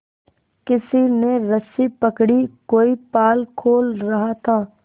किसी ने रस्सी पकड़ी कोई पाल खोल रहा था